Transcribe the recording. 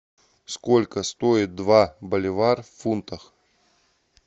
сколько стоит два боливар в фунтах